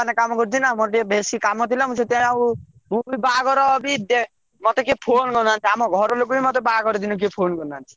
ରେ ବଡ company ରେ କାମ କରୁଛି ନା ମୋର ଟିକେ ବେଶୀ କାମ ଥିଲା ମୁଁ ସେଥି ପାଇଁ ଆଉ ମୁଁ ବି ବାହାଘର ବି ମତେ କେହି phone କରିନାହନ୍ତି ଆମ ଘର ଲୋକ ବି ମତେ ବାହାଘର ଦିନ କେହି phone କରିନାହନ୍ତି।